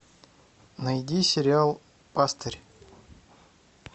найди сериал пастырь